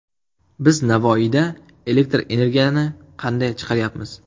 Biz Navoiyda elektr energiyani qanday chiqaryapmiz?